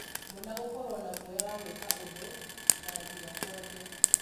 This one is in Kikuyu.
mwana gũkorwo na gũoya wa gũĩka ũndũ na nginya kwaria.